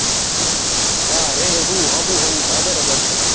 હા રેહવું હું બરાબર છે.